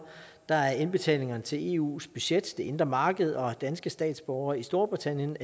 der er indbetalingerne til eus budget det indre marked og danske statsborgere i storbritannien